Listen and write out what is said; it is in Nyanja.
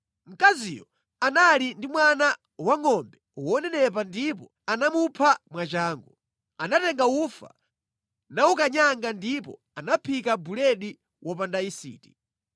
Mkaziyo anali ndi mwana wangʼombe wonenepa ndipo anamupha mwachangu. Anatenga ufa nawukanyanga ndipo anaphika buledi wopanda yisiti.